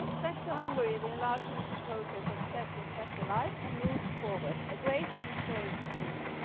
Thanks to Hungary, the enlargement process has been kept alive and moved forward, a great and historic achievement.